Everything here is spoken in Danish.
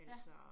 Ja